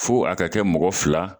Fo a ka kɛ mɔgɔ fila